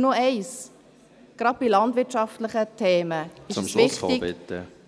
Noch eins: Gerade bei landwirtschaftlichen Themen ist es wichtig,